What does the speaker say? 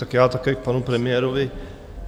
Tak já také k panu premiérovi.